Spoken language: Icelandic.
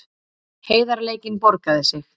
Heiðarleikinn borgaði sig